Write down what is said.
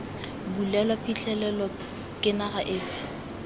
bulelwa phitlhelelo ke naga efe